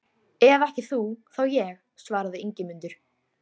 Árni hann um að stansa þar.